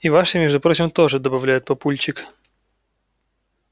и вашей между прочим тоже добавляет папульчик